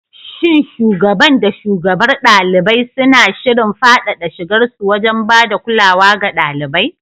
Shin shugaban da shugabar ɗalibai suna shirin faɗaɗa shigarsu wajen ba da kulawa ga ɗalibai?